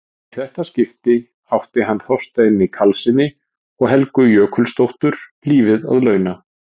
Í þetta skipti átti hann Þorsteini Karlssyni og Helgu Jökulsdóttur lífið að launa.